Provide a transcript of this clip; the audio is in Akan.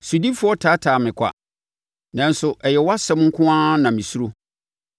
Sodifoɔ taataa me kwa, nanso ɛyɛ wʼasɛm nko ara na mesuro.